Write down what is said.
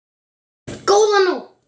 Góða nótt.